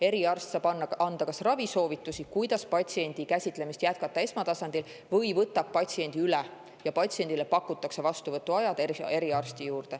Eriarst saab anda kas ravisoovitusi, kuidas patsiendi jätkata esmatasandil, või võtab patsiendi üle ja patsiendile pakutakse vastuvõtuaega eriarsti juurde.